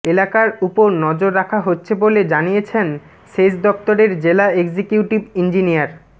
এলাকার উপর নজর রাখা হচ্ছে বলে জানিয়েছেন সেচ দফতরের জেলা এক্সিকিউটিভ ইঞ্জিনিয়ার